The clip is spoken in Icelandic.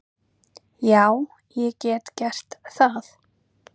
Já, ég get gert það.